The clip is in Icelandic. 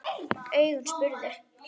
Augun spurðu.